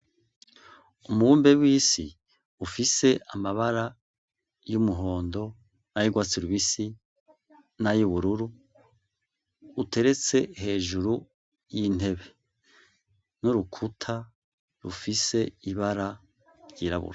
Umubumbe w'isi ufise amabara y'umuhondo; nay'urwatsi rubisi; nay'ubururu uteretse hejuru y'intebe n'urukuta rufise ibara ryirabura.